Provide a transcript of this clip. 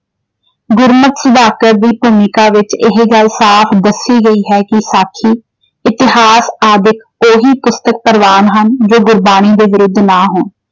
ਗੁਰਮਤ ਦੀ ਭੂਮਿਕਾ ਵਿੱਚ ਇਹ ਗੱਲ ਸਾਫ ਦੱਸੀ ਗਈ ਹੈ, ਕਿ ਸਾਖੀ ਇਤਿਹਾਸ ਆਦਿਕ ਉਹੀ ਪੁਸਤਕ ਪ੍ਰਵਾਨ ਹਨ ਜੋ ਗੁਰਬਾਣੀ ਦੇ ਵਿਰੁੱਧ ਨਾ ਹੋਣ।